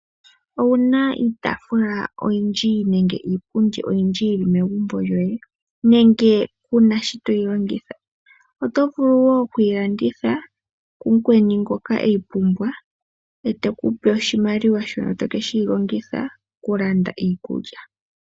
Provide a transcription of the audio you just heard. Owuna iitaafula oyindji nenge iipundi oyindji yi megumbo lyoye nenge kuna shi toyi longitha . Oto vulu woo oku yi landitha ku mukweni ngoka eyi pumbwa ete ku pe oshimaliwa shono to keshi longitha oku landa iikulya.